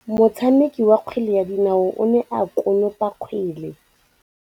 Motshameki wa kgwele ya dinaô o ne a konopa kgwele.